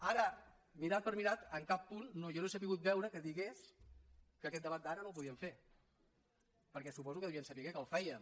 ara mirat per mirat en cap punt no jo no he sabut veure que digués que aquest debat d’ara no el podíem fer perquè suposo que devien saber que el fèiem